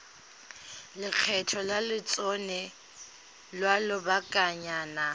lekgetho la lotseno lwa lobakanyana